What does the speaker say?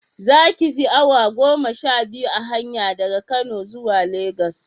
Za ki fi awa goma sha biyu a hanya daga Kano zuwa Legas